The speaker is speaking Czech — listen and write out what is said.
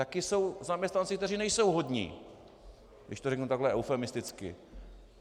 Taky jsou zaměstnanci, kteří nejsou hodní, když to řeknu takhle eufemisticky.